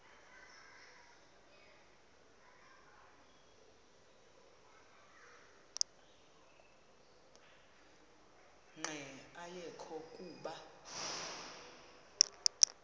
nqe ayekho kuba